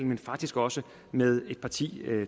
men faktisk også med et parti